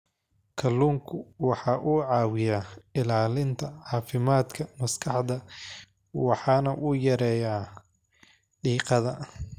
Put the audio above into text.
Kalluunku waxa uu caawiyaa ilaalinta caafimaadka maskaxda waxana uu yareeyaa diiqada.